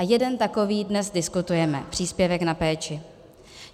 A jeden takový dnes diskutujeme, příspěvek na péči.